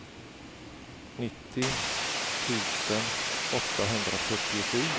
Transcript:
nittio tusen åttahundrafyrtiosju